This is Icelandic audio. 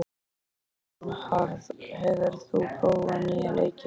Bernharð, hefur þú prófað nýja leikinn?